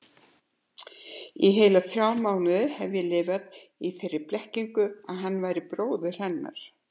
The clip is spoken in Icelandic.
Í heila þrjá mánuði hef ég lifað í þeirri blekkingu að hann væri bróðir hennar.